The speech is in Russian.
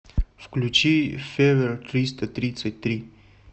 включи февер триста тридцать три